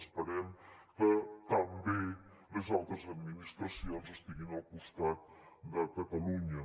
esperem que també les altres administracions estiguin al costat de catalunya